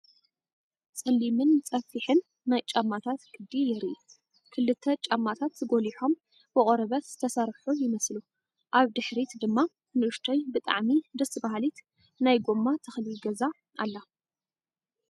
ጸሊምን ጸፍሒን ናይ ጫማታት ቅዲ የርኢ። ክልተ ጫማታት ጐሊሖም ብቆርበት ዝተሰርሑ ይመስሉ። ኣብ ድሕሪት ድማ ንእሽቶይ ብጣዕሚ ደስ በሃሊት ናይ ጎማ ተኽሊ ገዛ ኣላ።